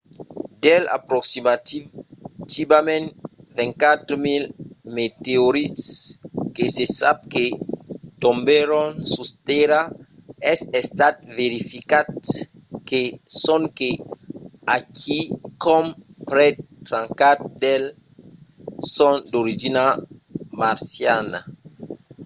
dels aproximativament 24 000 meteorits que se sap que tombèron sus tèrra es estat verificat que sonque a quicòm prèp 34 d'eles son d'origina marciana